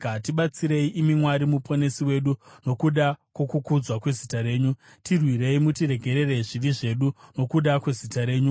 Tibatsirei, imi Mwari Muponesi wedu, nokuda kwokukudzwa kwezita renyu; tirwirei mutiregerere zvivi zvedu nokuda kwezita renyu.